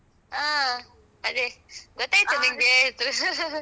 ಹ್ಮ್ ಅದೇ ಗೊತ್ತಾಯ್ತಾ ನೀನ್ಗೆ .